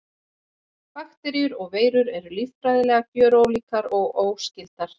Bakteríur og veirur eru líffræðilega gjörólíkar og óskyldar.